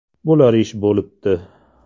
Bo‘lar ish bo‘libdi.